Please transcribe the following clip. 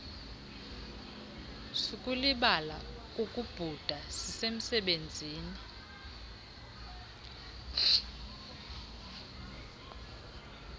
sukulibala kukubhuda sisemsebenzini